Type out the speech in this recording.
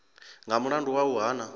nga mulandu wa u hana